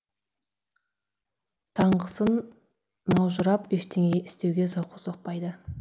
таңғысың маужырап ештеңе істеуге зауқы соқпайды